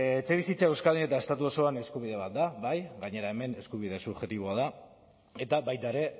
etxebizitza euskadin eta estatu osoan eskubide bat da bai gainera hemen eskubide subjektiboa da eta baita ere